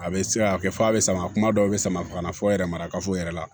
A bɛ se ka kɛ f'a bɛ samara kuma dɔw bɛ sama ka na fɔ yɛrɛ marakafo yɛrɛ la